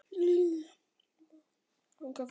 Lillý, er búið að ganga frá öllu?